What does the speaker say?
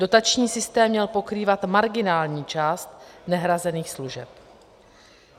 Dotační systém měl pokrývat marginální část nehrazených služeb.